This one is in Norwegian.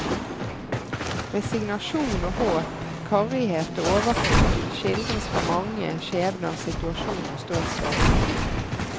Resignasjon og håp, karrighet og overflod, skildres fra mange skjebners situasjon og ståsted.